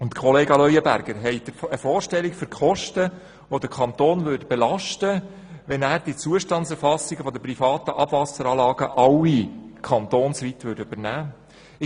Kollege Leuenberger, haben Sie eine Vorstellung von den Kosten, die den Kanton belasten würden, wenn er die Zustandserfassungen der privaten Abwasseranlagen kantonsweit übernehmen würde?